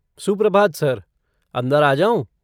सुप्रभात सर, अंदर आ जाऊँ?